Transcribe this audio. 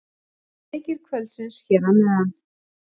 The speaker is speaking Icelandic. Leikir kvöldsins hér að neðan: